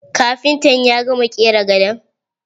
Kafintan ya gama ƙera gadon?